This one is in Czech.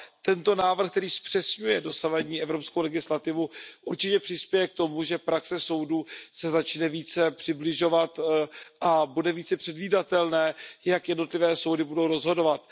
Tento návrh, který zpřesňuje dosavadní evropskou legislativu, určitě přispěje k tomu, že praxe soudů se začne více přibližovat a bude více předvídatelné, jak jednotlivé soudy budou rozhodovat.